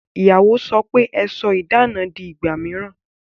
Ìyàwó sọ pe "Ẹ sọ idana di ìgbà mìíràn